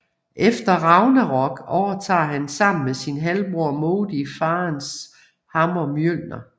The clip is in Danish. Efter Ragnarok overtager han sammen med sin halvbror Modi faderens hammer Mjølner